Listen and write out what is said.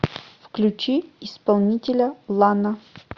включи исполнителя лана